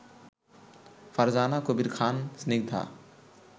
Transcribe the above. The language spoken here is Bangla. ফারজানা কবির খান স্নিগ্ধা